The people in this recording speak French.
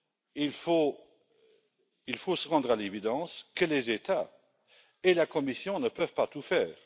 qu'il faut se rendre à l'évidence que les États et la Commission ne peuvent pas tout faire.